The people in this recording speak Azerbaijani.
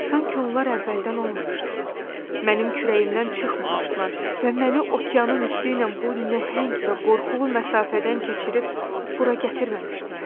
Sanki onlar əvvəldən olmamışdılar, mənim kürəyimdən çıxmamışdılar və məni okeanın üstü ilə bu nəhəng və qorxulu məsafədən keçirib bura gətirməmişdilər.